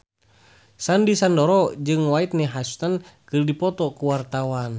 Sandy Sandoro jeung Whitney Houston keur dipoto ku wartawan